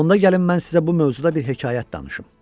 Onda gəlin mən sizə bu mövzuda bir hekayət danışım.